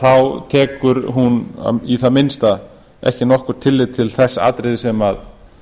þá tekur hún í það minnsta ekki nokkurt tillit til þess atriðis sem